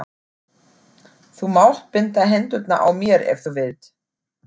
Þú mátt binda hendurnar á mér ef þú vilt.